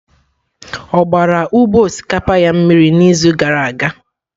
Ọ gbara ugbo osikapa ya mmiri n'izu gara aga?